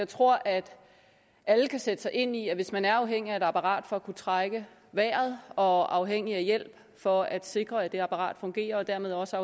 tror at alle kan sætte sig ind i at hvis man er afhængig af et apparat for at kunne trække vejret og afhængig af hjælp for at sikre at det apparat fungerer og dermed også